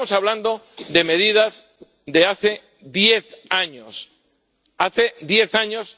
Estamos hablando de medidas de hace diez años.